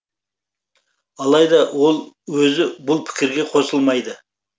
алайда ол өзі бұл пікірге қосылмайды